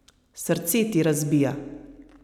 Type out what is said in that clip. Srce ti razbija.